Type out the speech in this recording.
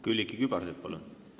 Külliki Kübarsepp, palun!